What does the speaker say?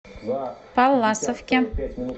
палласовке